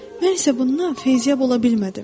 Mən isə bundan feyziyyab ola bilmədim.